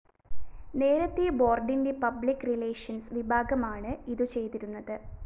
നേരത്തെ ബോര്‍ഡിന്റെ public relations വിഭാഗമാണ് ഇതു ചെയ്തിരുന്നത്